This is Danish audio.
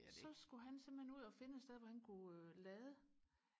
så skulle han simpelthen ud og finde et sted hvor han kunne lade